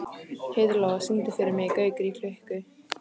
Heiðlóa, syngdu fyrir mig „Gaukur í klukku“.